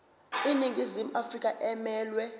iningizimu afrika emelwe